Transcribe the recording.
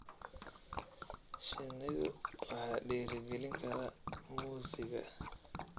Shinnidu waxa dhiirigelin kara muusiga.